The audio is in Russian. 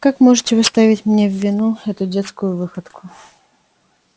как можете вы ставить мне в вину эту детскую выходку